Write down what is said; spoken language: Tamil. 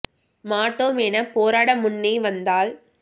மாட்டோமெனப் போராட முன்னே வந்தால்